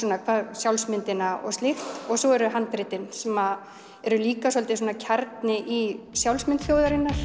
sjálfsmyndina og slíkt og svo eru handritin sem eru líka svolítið svona kjarni í sjálfsmynd þjóðarinnar